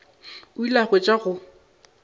o ile a hwetša go